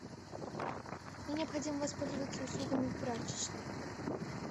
мне необходимо воспользоваться услугами прачечной